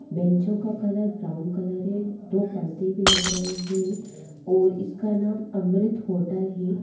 बेंचो का colour brown colour है दो पर्दे भी लग रहे हैं और इसका नाम अमृत होटल है।